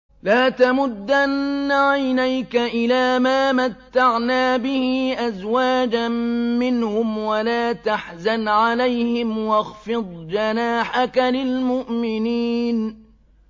لَا تَمُدَّنَّ عَيْنَيْكَ إِلَىٰ مَا مَتَّعْنَا بِهِ أَزْوَاجًا مِّنْهُمْ وَلَا تَحْزَنْ عَلَيْهِمْ وَاخْفِضْ جَنَاحَكَ لِلْمُؤْمِنِينَ